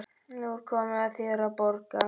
Nú er komið að þér að borga.